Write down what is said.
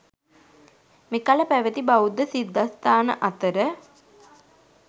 මෙකල පැවැති බෞද්ධ සිද්ධස්ථාන අතර